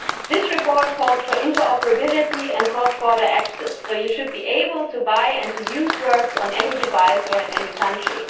This report calls for interoperability and cross border access, so you should be able to buy and to use works on any device or in any country.